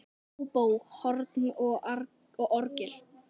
Óbó, horn og orgel.